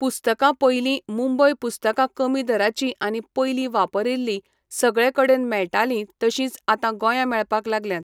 पुस्तकां पयलीं मुंबय पुस्तकां कमी दराचीं आनी पयलीं वापरिल्लीं सगळे कडेन मेळटालीं तशींच आतां गोंया मेळपाक लागल्यांत.